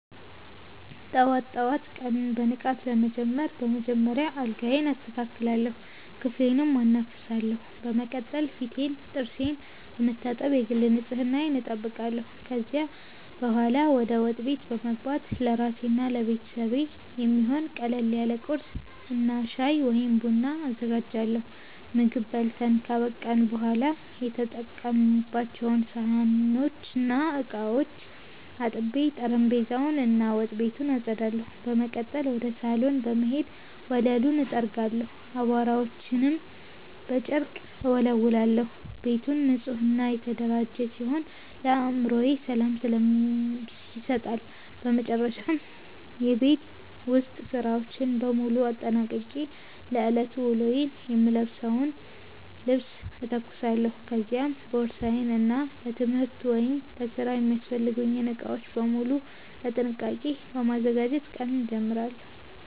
ጠዋት ጠዋት ቀኑን በንቃት ለመጀመር በመጀመሪያ አልጋዬን አስተካክላለሁ፣ ክፍሌንም አናፍሳለሁ። በመቀጠል ፊቴንና ጥርሴን በመታጠብ የግል ንጽህናዬን እጠብቃለሁ። ከዚያ በኋላ ወደ ወጥ ቤት በመግባት ለራሴና ለቤተሰቤ የሚሆን ቀለል ያለ ቁርስ እና ሻይ ወይም ቡና አዘጋጃለሁ። ምግብ በልተን ካበቃን በኋላ የተጠቀሙባቸውን ሳህኖችና ዕቃዎች አጥቤ፣ ጠረጴዛውን እና ወጥ ቤቱን አጸዳለሁ። በመቀጠል ወደ ሳሎን በመሄድ ወለሉን እጠርጋለሁ፣ አቧራዎችንም በጨርቅ እወለውላለሁ። ቤቱ ንጹህና የተደራጀ ሲሆን ለአእምሮ ሰላም ይሰጣል። በመጨረሻም የቤት ውስጥ ሥራዎችን በሙሉ አጠናቅቄ ለዕለቱ ውሎዬ የምለብሰውን ልብስ እተኩሳለሁ፤ ከዚያም ቦርሳዬን እና ለትምህርት ወይም ለሥራ የሚያስፈልጉኝን ዕቃዎች በሙሉ በጥንቃቄ በማዘጋጀት ቀኑን እጀምራለሁ።